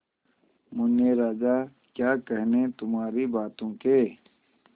मुन्ने राजा क्या कहने तुम्हारी बातों के